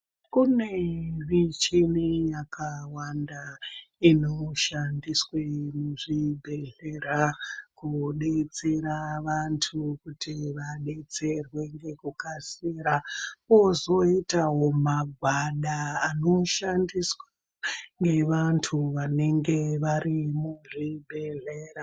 Kune michini yakawanda inoshandiswe muzvibhehlera kudetsera vantu kuti vadetserwe ngekukasira. Kozoitawo magwada anoshandiswa ngevanhu vanenge vari muzvibhehlera.